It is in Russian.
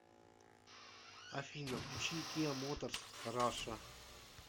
афина включи киа моторс раша